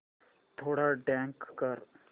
थोडा डार्क कर